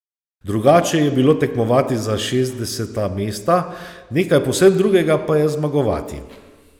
Drugače je bilo tekmovati za šestdeseta mesta, nekaj povsem drugega pa je zmagovati.